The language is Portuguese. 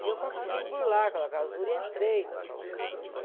E eu consegui burlar aquela clausura e entrei na clausura das madres.